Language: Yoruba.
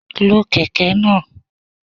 Lo Kẹ̀kẹ́ náà.